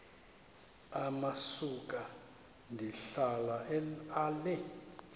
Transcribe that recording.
amasuka ndihlala ale